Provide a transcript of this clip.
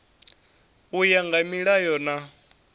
u ya nga milayo na